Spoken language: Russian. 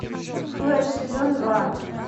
флеш сезон два